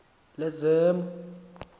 lezemo